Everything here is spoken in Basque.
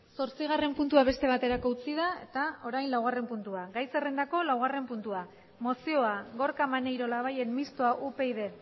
zortzigarren puntua beste baterako utzi da eta orain laugarren puntua gai zerrendako laugarren puntua mozioa gorka maneiro labayen mistoa upyd